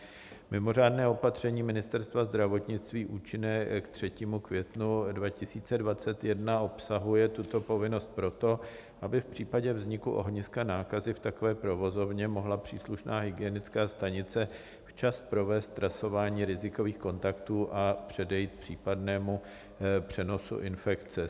Mimořádné opatření Ministerstva zdravotnictví účinné k 3. květnu 2021 obsahuje tuto povinnost proto, aby v případě vzniku ohniska nákazy v takové provozovně mohla příslušná hygienická stanice včas provést trasování rizikových kontaktů a předejít případnému přenosu infekce.